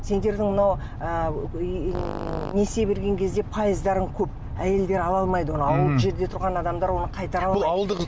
сендердің мынау ы несие берген кезде пайыздарың көп әйелдер ала алмайды оны ауылдық жерлерде тұрған адамдар оны